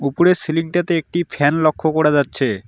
উপরের সিলিং -টাতে একটি ফ্যান লক্ষ করা যাচ্ছে।